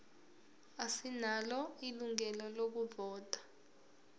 asinalo ilungelo lokuvota